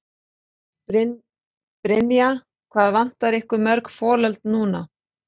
Brynja: Hvað vantar ykkur mörg folöld núna?